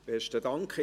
Besten Dank.